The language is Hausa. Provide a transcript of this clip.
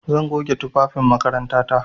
Zan goge tufafin makarantata.